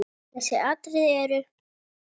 Þessi atriði eru